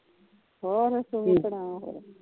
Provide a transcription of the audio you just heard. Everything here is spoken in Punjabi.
ਹੋਰ ਤੂੰ ਸੁਣਾ ਫਿਰ